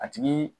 A tigi